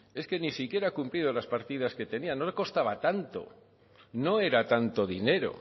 es que ni siquiera ha cumplido las partidas que tenían no le costaba tanto no era tanto dinero